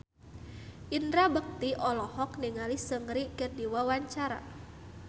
Indra Bekti olohok ningali Seungri keur diwawancara